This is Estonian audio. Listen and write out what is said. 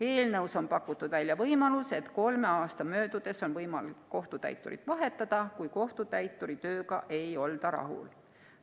Eelnõus on pakutud välja võimalus, et kolme aasta möödudes on võimalik kohtutäiturit vahetada, kui kohtutäituri tööga ei olda rahul.